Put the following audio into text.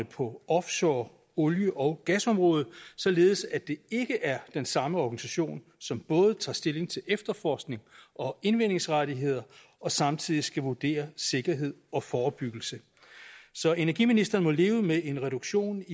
på offshore olie og gasområdet således at det ikke er den samme organisation som både tager stilling til efterforskning og indvindingsrettigheder og samtidig skal vurdere sikkerhed og forebyggelse så energiministeren må leve med en reduktion